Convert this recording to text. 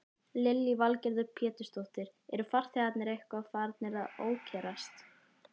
Lillý Valgerður Pétursdóttir: Eru farþegarnir eitthvað farnir að ókyrrast?